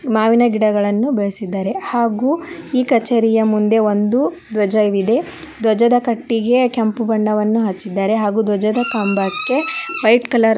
ಮಾವಿನ ಗಿಡಗಳನ್ನು ಬೆಳೆಸಿದ್ದಾರೆ ಹಾಗು ಈ ಕಚೇರಿಯ ಮುಂದೆ ಒಂದು ದ್ವಜವಿದೆ ದ್ವಜದ ಕಟ್ಟಿಗೆ ಕೆಂಪು ಬಣ್ಣವನ್ನ ಹಚ್ಚಿದಾರೆ ಹಾಗು ದ್ವಜದ ಕಂಬಕ್ಕೆ ವೈಟ್ ಕಲರ್ .